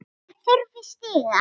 Ég þurfti stiga.